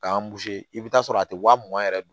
K'an i bɛ taa sɔrɔ a tɛ wa mugan yɛrɛ don